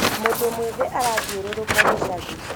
mũndũ mwĩthĩ arathiũrũrũka gĩcagi